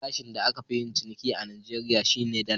Farashin da aka fi yin ciniki a Najeriya, shi ne Dala.